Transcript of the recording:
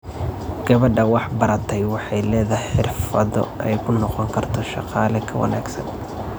Gabadha wax bartay waxay leedahay xirfado ay ku noqon karto shaqaale ka wanaagsan.